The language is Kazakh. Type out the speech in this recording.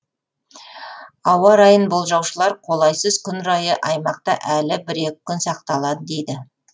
ауа райын болжаушылар қолайсыз күн райы аймақта әлі бір екі күн сақталады дейді